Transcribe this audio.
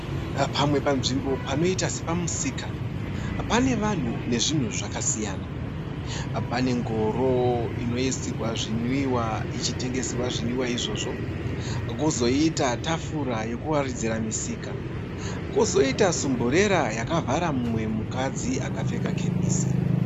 Pamwe panzvimbo panoita sepamusika pane vanhu nezvinhu zvakasiyana. Pane ngoro inoisirwa zvinwiwa ichitengeserwa zvinwiwa izvozvo kwozoita tafura yekuwaridzira misika kwozoita sumburera yakavhara mumwe mukadzi akapfeka kepesi.